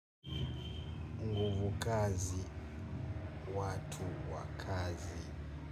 Nguvu kazi, watu wakazi.